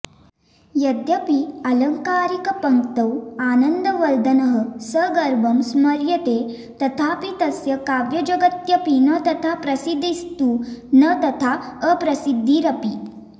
यद्यपि आलङ्कारिकपङ्क्तौ आनन्दवर्धनः सगर्वं स्मर्यते तथापि तस्य काव्यजगत्यपि न तथा प्रसिद्धिस्तु न तथाऽप्रसिद्धिरपि